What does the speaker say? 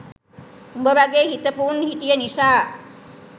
උඹ වගේ හිතපු උන් හිටිය නිසා